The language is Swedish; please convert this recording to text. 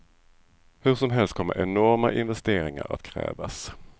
Hur som helst kommer enorma investeringar att krävas.